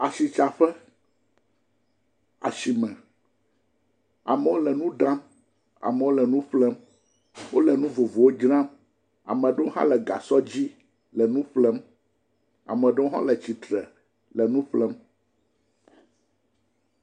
Asitsaƒe, asime, amewo le nu ɖam, amewo le nu ƒlem, wole nu vovovowo dzram, amewo hã le gasɔ dzi le nu ƒlem, ame ɖewo hã le tsitre le nu ƒlem.